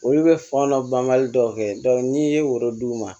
Olu bɛ fan dɔ banbali dɔw kɛ n'i ye oro d'u ma